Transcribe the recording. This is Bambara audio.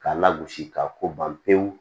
K'a lagosi k'a ko ban pewu